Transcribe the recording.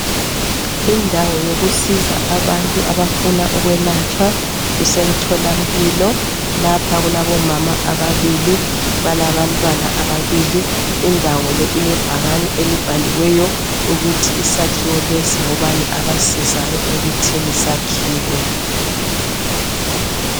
Indawo yokusiza abantu abafuna ukwelatshwa kusemtholampilo, lapha kulabomama ababili balabantwana ababili, indawo le ilebhakani elibhaliweyo ukuthi isakhiwo lesi ngobani abasizayo ekuthini sakhiwe.